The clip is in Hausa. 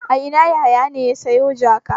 A ina Yahaya ne ya sayo jaka?